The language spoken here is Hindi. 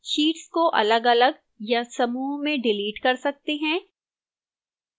sheets को अलगअलग या समूह में डिलीट कर सकते हैं